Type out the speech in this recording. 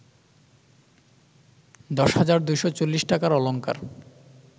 ১০২৪০ টাকার অলঙ্কার